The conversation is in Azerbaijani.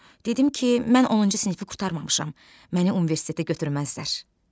Dedim ki, mən 10-cu sinifi qurtarmamışam, məni universitetə götürməzlər.